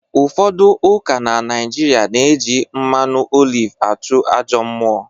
Ụfodu ụka na naijịrịa na-eji mmanụ oliv achụ ajọ mmụọ